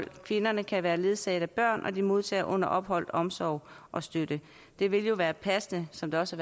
kvinderne kan være ledsaget af børn og de modtager under opholdet omsorg og støtte det ville jo være passende som der også